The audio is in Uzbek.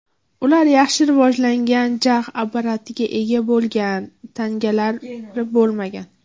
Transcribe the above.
Ular yaxshi rivojlangan jag‘ apparatiga ega bo‘lgan, tangalari bo‘lmagan.